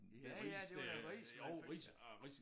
Ja ja det var da ris man fik